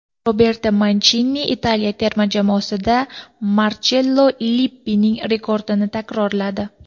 Roberto Manchini Italiya terma jamoasida Marchello Lippining rekordini takrorladi.